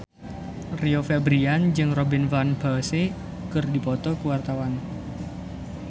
Rio Febrian jeung Robin Van Persie keur dipoto ku wartawan